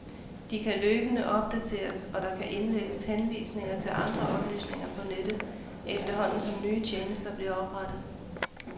De kan løbende opdateres, og der kan indlægges henvisninger til andre oplysninger på nettet, efterhånden som nye tjenester bliver oprettet.